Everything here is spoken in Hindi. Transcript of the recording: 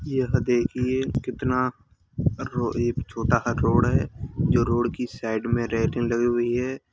यह देखिए कितना ए-एक छोटा सा रोड है जो रोड की साईड मे रेलिंग लगी हुई है।